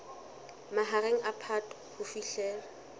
mahareng a phato ho fihlela